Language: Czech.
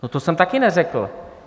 No, to jsem taky neřekl.